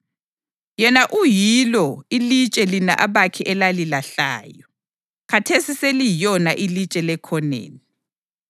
Yena uyilo ‘ilitshe lina abakhi elalilahlayo, khathesi seliyilona ilitshe lekhoneni.’ + 4.11 AmaHubo 118.22